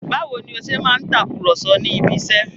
Báwo ni ó ṣe máa ń takùrọ̀sọ ní ibiṣẹ́?